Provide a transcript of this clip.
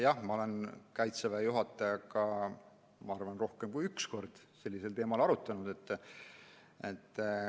Jah, ma olen Kaitseväe juhatajaga, ma arvan, rohkem kui üks kord seda teemat arutanud.